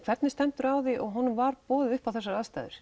hvernig stendur á því að honum var boðið upp á þessar aðstæður